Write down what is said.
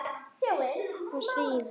og síðan